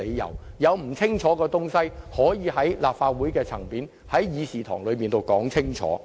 如果有不清晰的地方，也可以在立法會的議事堂解釋清楚。